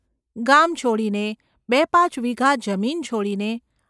ગામ છોડીને, બે પાંચ વીઘા જમીન છોડીને.